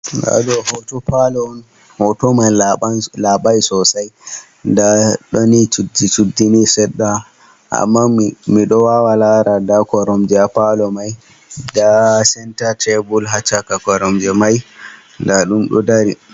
Ndaɗo hoto Palor hotoman laɓai sosai, nda ɗonni chuddi chuddi ni seɗɗa amma miɗowawa lara nda koromje ha palo mai nda Centre table ha chaka koromje mai ndaɗum dari.